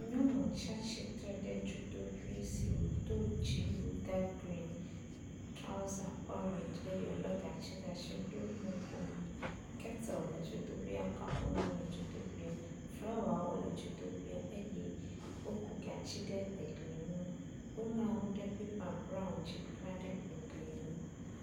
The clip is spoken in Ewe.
Nyɔnu tsi atsitre ɖe dzodoƒe si wodo dziwui ka grin. Trɔza orangi eye wo le gatsi ɖe asi ɖo nukomo. Keteli le dzoƒea, kaƒomɔ le dzodoƒea, flawawo le dzodoƒea eye woku gatsi ɖe egli nu. Woŋlɔ nu ɖe pepa braɔn dzi klaɖe egli nu.